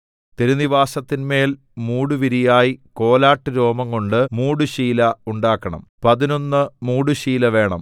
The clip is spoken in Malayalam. തിരുനിവാസത്തിന്മേൽ മൂടുവിരിയായി കോലാട്ടുരോമം കൊണ്ട് മൂടുശീല ഉണ്ടാക്കണം പതിനൊന്ന് മൂടുശീല വേണം